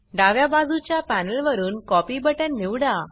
डाव्या बाजूच्या पॅनल वरुन कॉपी बटन निवडा